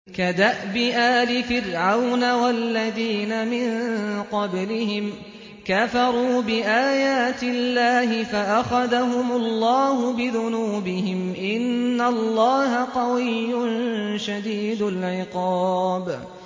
كَدَأْبِ آلِ فِرْعَوْنَ ۙ وَالَّذِينَ مِن قَبْلِهِمْ ۚ كَفَرُوا بِآيَاتِ اللَّهِ فَأَخَذَهُمُ اللَّهُ بِذُنُوبِهِمْ ۗ إِنَّ اللَّهَ قَوِيٌّ شَدِيدُ الْعِقَابِ